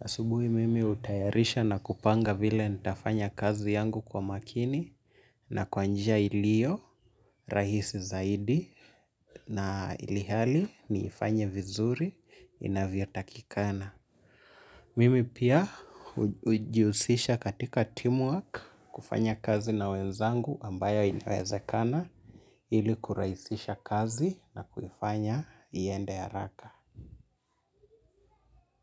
Asubuhi mimi hutayarisha na kupanga vile nitafanya kazi yangu kwa makini na kwa njia ilio rahisi zaidi na ilihali niifanye vizuri inavyo takikana. Mimi pia hujihusisha katika teamwork kufanya kazi na wenzangu ambayo inawezekana ili kurahisisha kazi na kuifanya iende haraka.